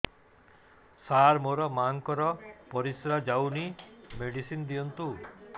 ସାର ମୋର ମାଆଙ୍କର ପରିସ୍ରା ଯାଉନି ମେଡିସିନ ଦିଅନ୍ତୁ